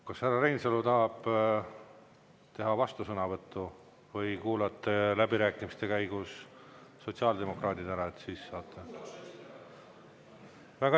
Kas härra Reinsalu tahab teha vastusõnavõttu või kuulate läbirääkimiste käigus sotsiaaldemokraadid ära ja siis saate sõna võtta?